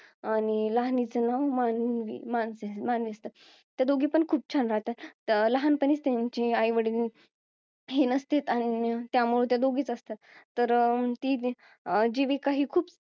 आणि लहानिच नाव मा~ मा~ मानवी असते त्या दोघी पण खूप छान राहतात लहानपणी त्यांची आईवडील ही नसतेत आणि त्यामुळे त्या दोघीच असतात तर ती जीविका ही खूप